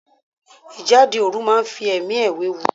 Ìjáde òru máa fi ẹ̀mí ẹ wéwu.